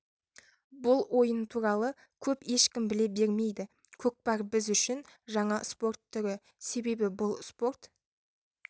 бұл ойын туралы көп ешкім біле бермейді көкпар біз үшін жаңа спорт түрі себебі бұл спорт